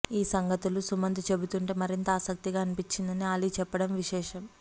ఈ సంగతులు సుమంత్ చెబుతుంటే మరింత ఆసక్తిగా అనిపించిందని ఆలీ చెప్పడం విశేషం